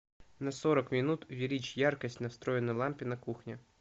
на сорок минут увеличь яркость на встроенной лампе на кухне